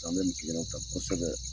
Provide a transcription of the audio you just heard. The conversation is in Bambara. K an bɛ nin f'i ɲɛna tan kosɛbɛ.